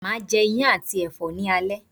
Máa je Iyán àti ẹ̀fọ́ ni alẹ́